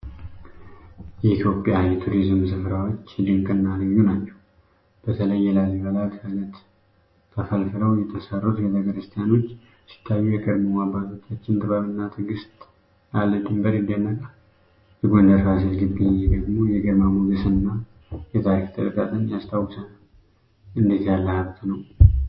የኢትዮጵያ የቱሪዝም ስፍራዎች ድንቅና ልዩ ናቸው! በተለይ የላሊበላ ከአለት ተፈልፍለው የተሠሩት ቤተ ክርስቲያኖች ሲታዩ፣ የቀድሞ አባቶቻችን ጥበብና ትዕግስት ያለ ድንበር ይደነቃል! የጎንደር ፋሲል ግቢ ደግሞ የግርማ ሞገስና የታሪክ ጥልቀትን ያስታውሰናል...እንዴት ያለ ሀብት ነው!